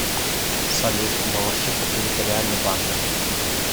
салют балашиха территориальный банк